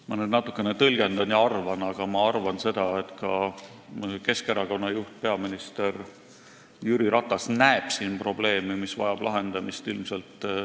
Ma nüüd natukene tõlgendan ja arvan, aga leian seda, et ka Keskerakonna juht peaminister Jüri Ratas näeb siin probleemi, mis vajab lahendamist.